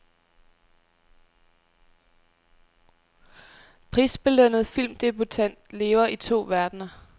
Prisbelønnet filmdebutant lever i to verdener.